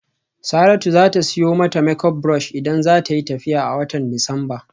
Saratu za ta siyo mata make up brush idan za ta yi tafiya a watan Disamba.